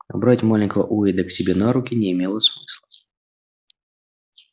а брать маленького уэйда к себе на руки не имело смысла